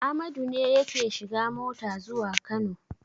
Amadu ne yake shiga mota zuwa Kano.